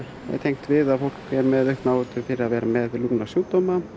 tengt við að fólk er með aukna áhættu fyrir að vera með lungnasjúkdóma